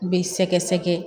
U bɛ sɛgɛsɛgɛ